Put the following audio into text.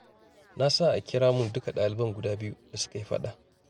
Na sa a kira mun duka ɗaliban guda biyu da suka yi faɗa.